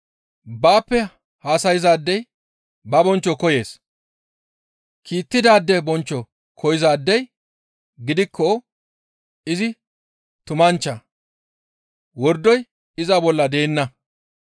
Baappe haasayzaadey ba bonchcho koyees. Kiittidaade bonchcho koyzaadey gidikko izi tumanchcha; wordoy iza bolla deenna.